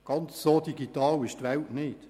Ganz so digital ist die Welt nicht.